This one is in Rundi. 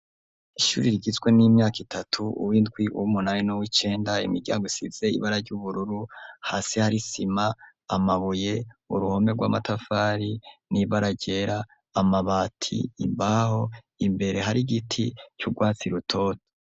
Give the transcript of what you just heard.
Ishuri rigizwe n'imyaka itatu uwo indwi uwo umunaweno w'icenda imiryago isize ibara ry'ubururu hasi harisima amabuye uruhome rw'amatafari n'ibara ryera amabati imbaho imbere hari igiti c'urwatsi rutoto.